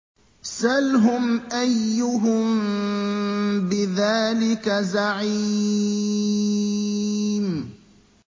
سَلْهُمْ أَيُّهُم بِذَٰلِكَ زَعِيمٌ